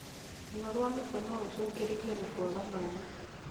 Ruo rwa mũtwe norũcũngĩrĩrio nĩ kwaga maĩ